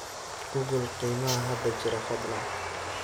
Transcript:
google qiimaha hadda jira fadlan